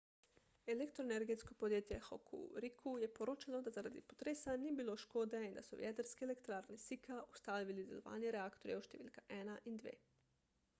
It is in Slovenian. elektroenergetsko podjetje hokuriku je poročalo da zaradi potresa ni bilo škode in da so v jedrski elektrarni sika ustavili delovanje reaktorjev številka 1 in 2